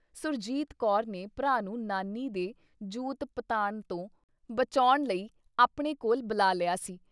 ਸੁਰਜੀਤ ਕੌਰ ਨੇ ਭਰਾ ਨੂੰ ਨਾਨੀ ਦੇ ਜੂਤ-ਪਤਾਣ ਤੋਂ ਬਚੌਂਣ ਲਈ ਆਪਣੇ ਕੋਲ ਬੁਲਾ ਲਿਆ ਸੀ।